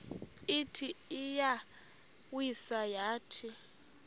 ithi iyawisa yathi